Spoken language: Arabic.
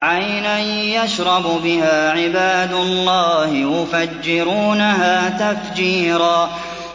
عَيْنًا يَشْرَبُ بِهَا عِبَادُ اللَّهِ يُفَجِّرُونَهَا تَفْجِيرًا